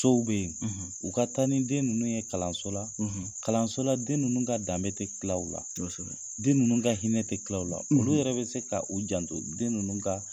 Sow be ye. u ka taa nin den ninnu ye kalanso la, kalanso la den ninnu ka danbe tɛ tila u la, kosɛbɛ, den ninnu ka hinɛ tɛ tila u la . Olu yɛrɛ bɛ se ka u janto den nunnu ka